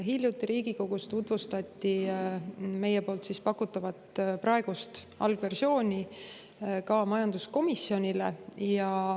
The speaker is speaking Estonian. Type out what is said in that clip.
Hiljuti Riigikogus tutvustati meie pakutavat praegust algversiooni ka majanduskomisjonile.